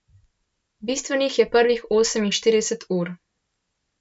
Bistvenih je prvih oseminštirideset ur.